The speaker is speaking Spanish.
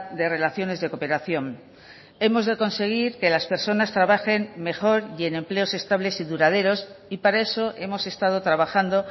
de relaciones de cooperación hemos de conseguir que las personas trabajen mejor y en empleos estables y duraderos y para eso hemos estado trabajando